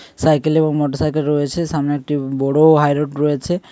Cycle এবং motorcycle রয়েছে। সামনে একটি বড় হাই রোড রয়েছে।